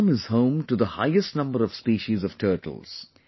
Assam is home to the highest number of species of turtles